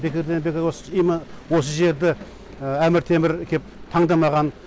бекерден бекер осы осы жерді әмір темір кеп таңдамаған